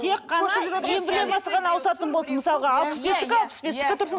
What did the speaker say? тек қана эмблемасы ғана ауысатын болсын мысалға алпыс бестікі алпыс бестікі тұрсын